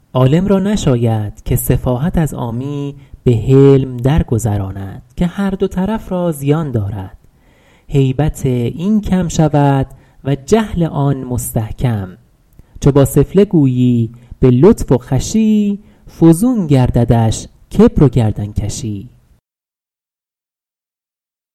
عالم را نشاید که سفاهت از عامی به حلم درگذراند که هر دو طرف را زیان دارد هیبت این کم شود و جهل آن مستحکم چو با سفله گویی به لطف و خوشی فزون گرددش کبر و گردنکشی